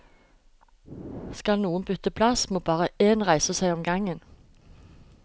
Skal noen bytte plass, må bare én reise seg om gangen.